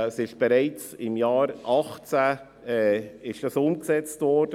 Sie ist im Jahr 2018 bereits umgesetzt worden.